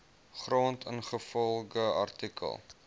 grond ingevolge artikel